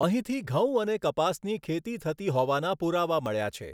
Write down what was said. અહીંથી ઘઉં અને કપાસની ખેતી થતી હોવાના પુરાવા મળ્યા છે.